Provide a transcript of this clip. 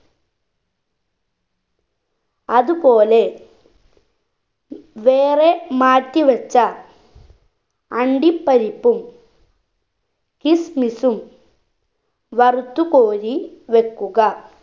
അത് പോലെ വേറെ മാറ്റി വെച്ച അണ്ടിപരിപ്പും kismis ഉം വറുത്തു കോരി വെക്കുക